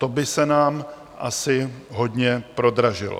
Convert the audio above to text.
To by se nám asi hodně prodražilo.